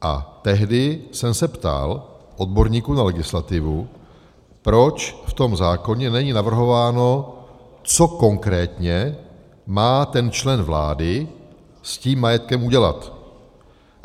A tehdy jsem se ptal odborníků na legislativu, proč v tom zákoně není navrhováno, co konkrétně má ten člen vlády s tím majetkem udělat.